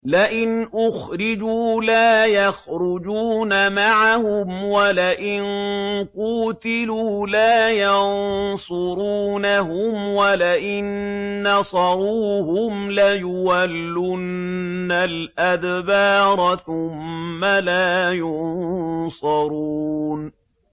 لَئِنْ أُخْرِجُوا لَا يَخْرُجُونَ مَعَهُمْ وَلَئِن قُوتِلُوا لَا يَنصُرُونَهُمْ وَلَئِن نَّصَرُوهُمْ لَيُوَلُّنَّ الْأَدْبَارَ ثُمَّ لَا يُنصَرُونَ